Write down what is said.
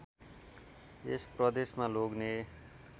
यस प्रदेशमा लोग्ने